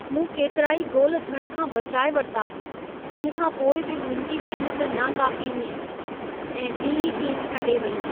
मूं केतिराई गोल थियण खां बचाए वरिता। तंहिं खां पोइ बि मुंहिंजी महिनत ना काफ़ी हुई ऐं ॿिई टीम खटे वई।